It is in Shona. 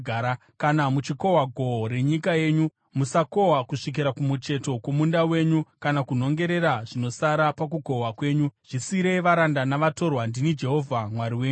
“ ‘Kana muchikohwa gohwo renyika yenyu musakohwa kusvikira kumucheto kwomunda wenyu, kana kunhongera zvinosara pakukohwa kwenyu. Zvisiyirei varanda navatorwa. Ndini Jehovha Mwari wenyu.’ ”